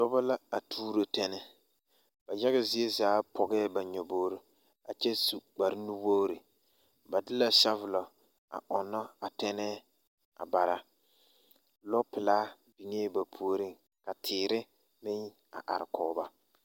Dɔbɔ la a tuuro tɛnɛɛ ba yaɡa zie zaa pɔɡɛɛ ba nyoboori a kyɛ su kparnuwoori ba de la sɔvulɔ a ɔnnɔ a tɛnɛɛ a bara lɔpelaa biŋee ba puoriŋ ka teere meŋ a arekɔɡe ba.